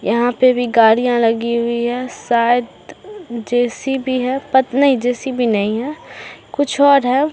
यहाँ पे भी गाड़ियां लगी हुई है शायद जे.सी.बी. है पत नहीं जे.सी.बी. नही है कुछ और है |